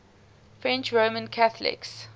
french roman catholics